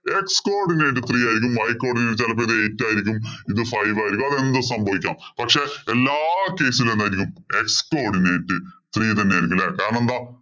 X codinate three ആയിരിക്കും. Y codinate ചെലപ്പോ ദേ eight ആയിരിക്കും. ഇത് five ആയിരിക്കും. അതെന്തും സംഭവിക്കാം. പക്ഷേ, എല്ലാ case ഇലും എന്തായിരിക്കും? X codinate three തന്നെയായിരിക്കും. കാരണമെന്താ?